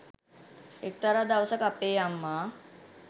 එක්තරා දවසක අපේ අම්මා